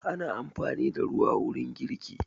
Ana amfani da ruwa wurin girki.